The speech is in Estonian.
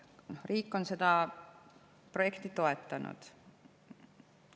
Riik on seda projekti toetanud.